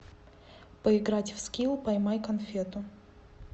поиграть в скилл поймай конфету